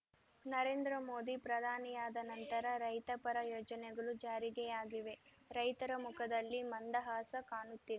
ನರೇಂದ್ರಮೋದಿ ಪ್ರಧಾನಿಯಾದ ನಂತರ ರೈತಪರ ಯೋಜನೆಗಳು ಜಾರಿಗೆಯಾಗಿವೆ ರೈತರ ಮುಖದಲ್ಲಿ ಮಂದಹಾಸ ಕಾಣುತ್ತಿದೆ